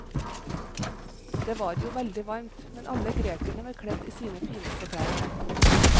Det var jo veldig varmt, men alle grekerne var kledd i sine fineste klær.